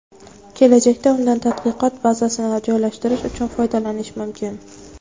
Kelajakda undan tadqiqot bazasini joylashtirish uchun foydalanish mumkin.